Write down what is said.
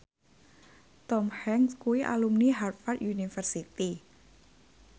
Tom Hanks kuwi alumni Harvard university